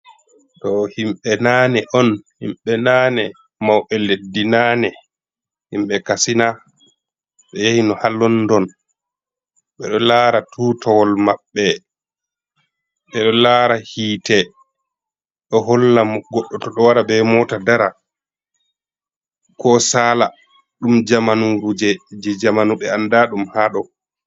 Ɗo himɓe naane on. Himɓe naane, mauɓe leddi naane. Himɓe kasina ɓe yahi no ha london ɓe ɗo lara tutowol maɓɓe, ɓeɗo lara hiite ɗo hollan goɗɗo to ɗo wara be mota dara, ko sala. Ɗum jamanuje je jamanu ɓe anda ɗum haɗɗo.